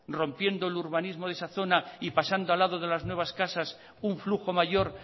rompiendo el urbanismo de esa zona y pasando al lado de las nuevas casas un flujo mayor